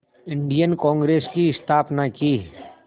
Indian Congress की स्थापना की